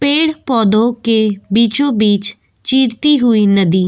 पेड़ पौधों के बीचो बीच चीरती हुई नदी --